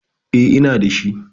E, ina da shi.